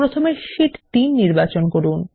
প্রথমে শিট 3 নির্বাচন করুন